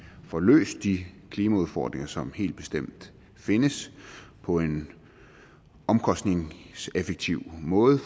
får løst de klimaudfordringer som helt bestemt findes på en omkostningseffektiv måde